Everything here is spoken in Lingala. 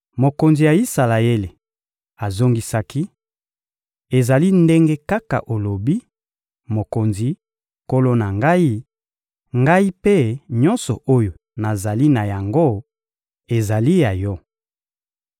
Mokonzi ya Isalaele azongisaki: — Ezali ndenge kaka olobi, mokonzi, nkolo na ngai; ngai mpe nyonso oyo nazali na yango ezali ya yo.